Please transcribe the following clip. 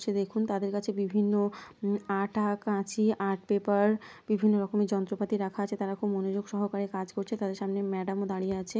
ছে দেখুন তাদের কাছে বিভিন্ন উম আঠা কাঁচি আর্ট পেপার বিভিন্ন রকমের যন্ত্রপাতি রাখা আছে তারা খুব মনোযোগ সহকারে কাজ করছে তাদের সামনে ম্যাডাম ও দাঁড়িয়ে আছে।